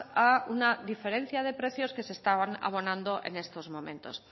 a una diferencia de precios que se están abonando en estos momentos